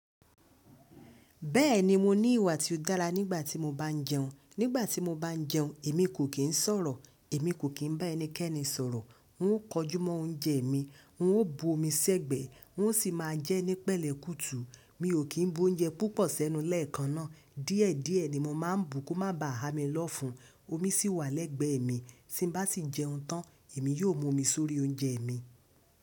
Bẹ́ẹ̀ni mo ní ìwà tí ó dára nígbà tí mo bá ń jẹun. Nígbà tí mo bá ń jẹun èmi kò kín sọ̀rọ̀, èmi kò kín bá ẹnikẹ́ni sọ̀rọ̀. N ó kọjúmọ́ oúnjẹ mi, n ó bu omi sẹ́gbẹ̀ẹ́, n ó sì máa jẹ́ ní pẹ̀lẹ́ kùtù. Mi ò kín bú oúnjẹ púpọ̀ sẹ́nu lẹ́ẹ̀kan náà. Díẹ̀díẹ̀ ni mo mà ń bu kó má ba à há mi lọ́fun. Omi sì wà lẹ́gbẹ̀ẹ́ mi, tí n bá sì jẹun tán, èmi yóò mú omi sórí oúnjẹ mi.